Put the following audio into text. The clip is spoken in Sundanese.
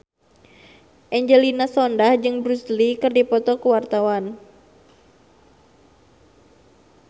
Angelina Sondakh jeung Bruce Lee keur dipoto ku wartawan